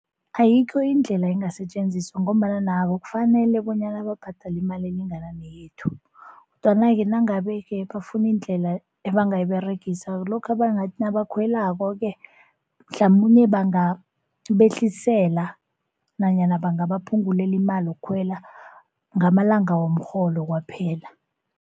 Ayikho indlela engasetjenziswa ngombana nabo kufanele bonyana babhadale iimali elingana neyethu. Kodwana-ke nangabe-ke bafuna indlela ebangayiberegisa kulokha bangathi nabakhwelako-ke, mhlamunye bangabehlisela nanyana bangabaphungulela imali yokukhwela ngamalanga womrholo kwaphela.